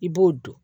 I b'o don